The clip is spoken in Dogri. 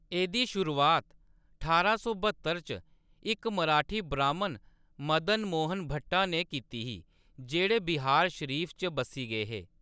एह्‌‌‌दी शुरुआत ठारां सौ ब्हत्तर च इक मराठी ब्राह्‌‌मन मदन मोहन भट्टा ने कीती ही, जेह्‌‌ड़े बिहारशरीफ च बस्सी गे हे।